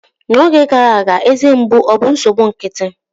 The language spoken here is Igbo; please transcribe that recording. N'oge gara aga, eze mgbu obụ nsogbu nkịtị?